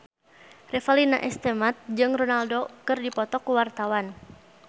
Revalina S. Temat jeung Ronaldo keur dipoto ku wartawan